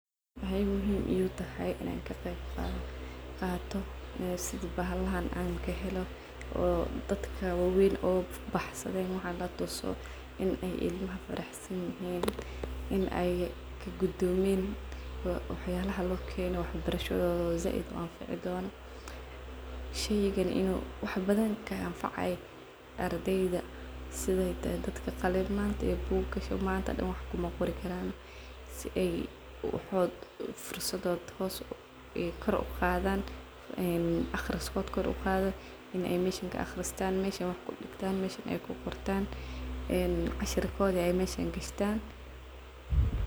Waxay muhim igutahay in an kaqeyb qato ee sidi bahalahan ankahelo, oo dadka waweyn oo baxsaden waxaan latuso in ilmaha baxsayihin , melaha lokeno waxbarasha , sheygan in uu ilmaha wax bnadhan kaanfacayo , manto dhan wax maqori kan , wa shaqo in carurta meshan kaaqristan , kuqortan ,een cashirkodi meshan gashtan.